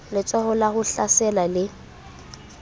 letsholo la ho hlasela le